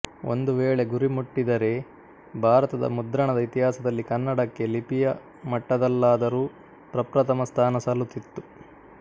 ಒಂದು ವೇಳೆ ಗುರಿ ಮುಟ್ಟಿದ್ದರೆ ಭಾರತದ ಮುದ್ರಣದ ಇತಿಹಾಸದಲ್ಲಿ ಕನ್ನಡಕ್ಕೆ ಲಿಪಿಯ ಮಟ್ಟದಲ್ಲಾದರೂ ಪ್ರಪ್ರಥಮ ಸ್ಥಾನ ಸಲ್ಲುತ್ತಿತ್ತು